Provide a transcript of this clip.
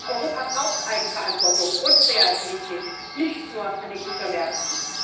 Europa braucht Eigenverantwortung und Kreativität, nicht nur an den Gütermärkten.